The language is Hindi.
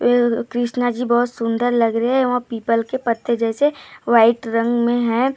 यह कृष्णा जी बहोत सुंदर लग रहे है वहां पीपल के पत्ते जैसे व्हाइट रंग मे है--